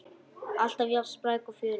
Alltaf jafn spræk og fjörug.